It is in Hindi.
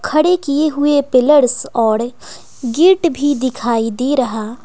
खड़े किए हुए पिलर्स और गेट भी दिखाई दे रहा।